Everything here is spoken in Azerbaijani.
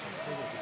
Burdan gəl.